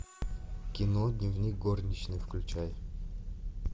кино дневник горничной включай